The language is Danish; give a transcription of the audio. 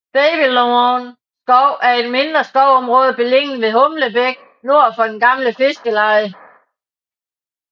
Babylone skov er et mindre skovområde beliggende ved Humlebæk nord for det gamle fiskerleje